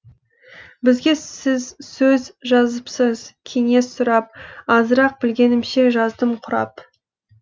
бізге сіз сөз жазыпсыз кеңес сұрап азырақ білгенімше жаздым құрап